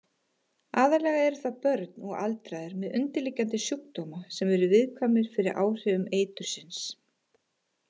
Aðallega eru það börn og aldraðir með undirliggjandi sjúkdóma sem eru viðkvæmir fyrir áhrifum eitursins.